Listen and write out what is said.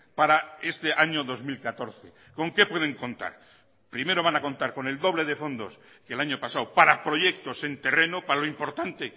para este año dos mil catorce con qué pueden contar primero van a contar con el doble de fondos que el año pasado para proyectos en terreno para lo importante